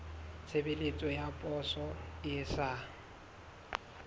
tshebeletso ya poso e sa